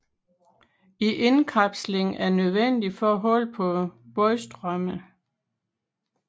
En indkapsling er nødvendig for at holde på vandstrømmen